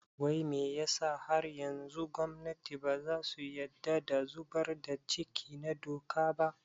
Wai me yasa har yanzu gwamnati baza su yadda da zubar da ciki na doka ba?